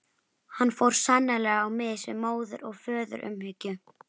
Hann fór sannarlega á mis við móður- og föðurumhyggju.